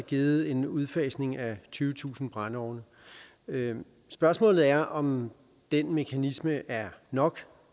givet en udfasning af tyvetusind brændeovne spørgsmålet er om den mekanisme er nok